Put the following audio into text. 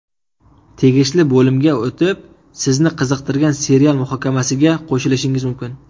Tegishli bo‘limga o‘tib, sizni qiziqtirgan serial muhokamasiga qo‘shilishingiz mumkin.